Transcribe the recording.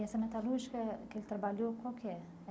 E essa metalúrgica que ele trabalhou, qual que é?